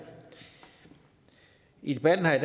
i debatten her i